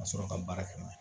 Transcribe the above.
Ka sɔrɔ ka baara kɛ n'a ye